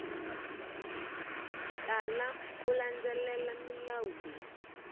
tala ku landzelela milawu leyi